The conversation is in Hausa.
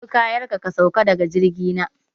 Ɗebi kayanka, ka sauka da ga jirgi na!